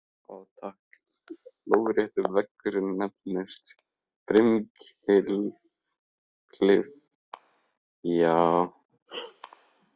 Lóðrétti veggurinn nefnist brimklif en lárétti pallurinn brimþrep.